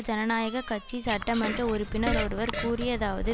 ஜனநாயக கட்சி சட்டமன்ற உறுப்பினர் ஒருவர் கூறியதாவது